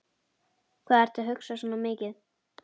Hvað ertu að hugsa svona mikið?